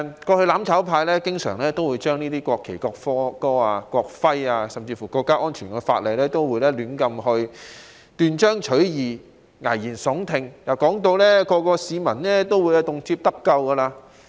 過去"攬炒派"經常就有關國旗、國歌、國徽甚至國家安全的法例，胡亂地斷章取義、危言聳聽，將之形容為可讓每位市民動輒得咎的工具。